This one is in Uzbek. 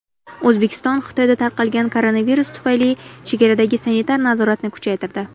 O‘zbekiston Xitoyda tarqalgan koronavirus tufayli chegaradagi sanitar nazoratni kuchaytirdi.